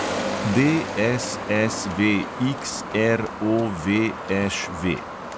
DSSVXROVŠV